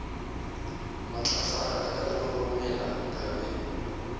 matlafala ka roromela ka be